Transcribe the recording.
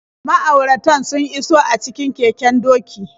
Ma'auratan sun iso a cikin keken doki.